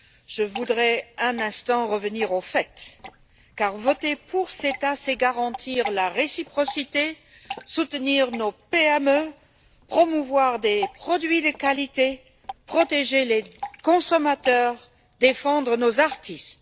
Je voudrais un instant revenir aux faits car voter pour le CETA, c'est garantir la réciprocité, soutenir nos PME, promouvoir des produits de qualité, protéger les consommateurs et défendre nos artistes.